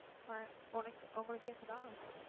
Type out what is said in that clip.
ஆஹ் உனக்கு உங்களுக்கு கேக்குதா